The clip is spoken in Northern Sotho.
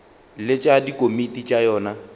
le tša dikomiti tša yona